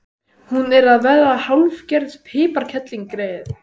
Hún er að verða hálfgerð piparkerling, greyið.